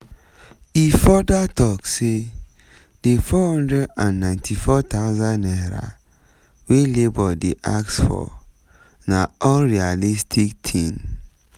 e further tok say di 494000 naira wey labour dey ask for na unrealistic tin